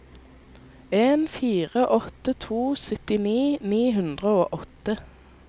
en fire åtte to syttini ni hundre og åtte